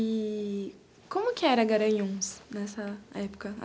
E como que era Garanhuns nessa época?